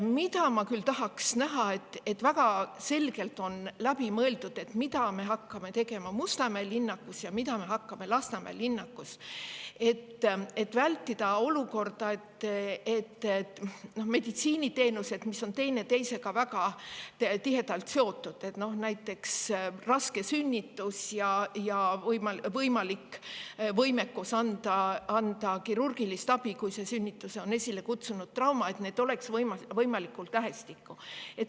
Ma tahaks küll näha, et oleks väga selgelt läbi mõeldud, mida me hakkame tegema Mustamäe linnakus ja mida Lasnamäe linnakus, et meditsiiniteenused, mis on teineteisega väga tihedalt seotud – näiteks sünnitus ja võimekus anda kirurgilist abi, kui raske sünnitus on esile kutsunud trauma –, oleks võimalikult lähestikku.